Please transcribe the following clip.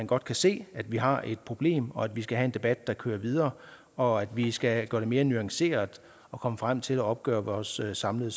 godt se at vi har et problem og at vi skal have en debat der kører videre og at vi skal gøre det mere nuanceret at komme frem til at opgøre vores samlede